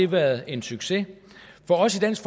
været en succes for os i dansk